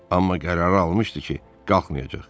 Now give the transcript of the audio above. Amma qərarı almışdı ki, qalxmayacaq.